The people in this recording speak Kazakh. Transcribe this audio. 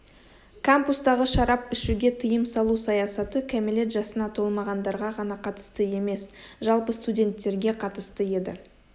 кампустағы шарап ішуге тыйым салу саясаты кәмелет жасына толмағандарға ғана қатысты емес жалпы студенттерге қатысты еді